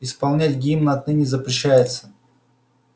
исполнять гимн отныне запрещается